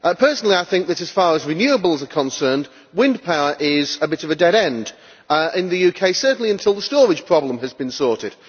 Personally, I think that, as far as renewables are concerned, wind power is a bit of a dead end in the UK, certainly until the storage problem has been sorted.